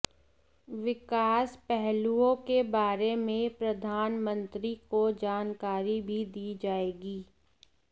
विकास पहलुओं के बारे में प्रधानमंत्री को जानकारी भी दी जाएगी